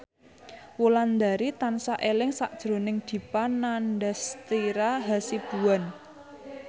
Wulandari tansah eling sakjroning Dipa Nandastyra Hasibuan